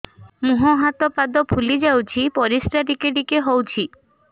ମୁହଁ ହାତ ପାଦ ଫୁଲି ଯାଉଛି ପରିସ୍ରା ଟିକେ ଟିକେ ହଉଛି